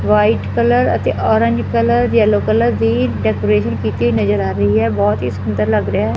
White colour ਅਤੇ orange colour yellow colour ਦੀ decoration ਕੀਤੀ ਹੋਈ ਨਜ਼ਰ ਆ ਰਹੀ ਐ ਬਹੁਤ ਹੀ ਸੁੰਦਰ ਲੱਗ ਰਿਹਾ ਐ।